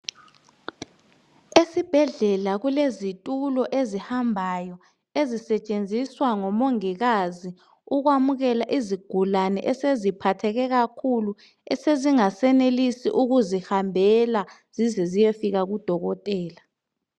Ezibhedlela kulezitulo ezihambayo ezisetshenziswa ngomongikazi ukwamukela izigulani eseziphatheke kakhulu esezingasayenelisi ukuzihambela zize ziyefika kudokotela